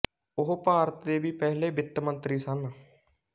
ਉਹ ਭਾਰਤ ਦੇ ਵੀ ਪਹਿਲੇ ਵਿੱਤ ਮੰਤਰੀ ਸਨ